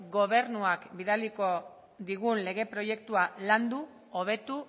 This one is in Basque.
gobernuak bidaliko digun legen proiektua landu hobetu